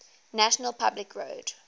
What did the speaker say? national public radio